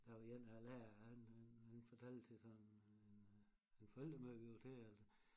Der var én af æ lærere han han han fortalte til sådan en øh en forældremøde vi var til at